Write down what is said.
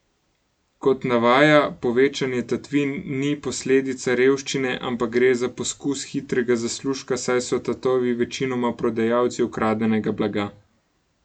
Kot navaja, povečanje tatvin ni posledica revščine, ampak gre za poskus hitrega zaslužka, saj so tatovi večinoma prodajalci ukradenega blaga.